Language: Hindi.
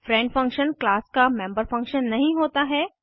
फ्रेंड फंक्शन क्लास का मेम्बर फंक्शन नहीं होता है